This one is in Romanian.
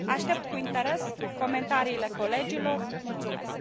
Aștept cu interes comentariile colegilor, mulțumesc.